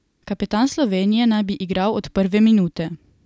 Kapetan Slovenije naj bi igral od prve minute.